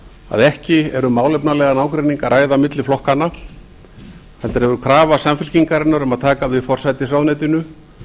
að ekki er um málefnalegan ágreining að ræða milli flokkanna heldur hefur krafa samfylkingarinnar um að taka við forsætisráðuneytinu